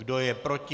Kdo je proti?